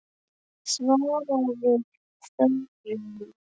svaraði Þórunn.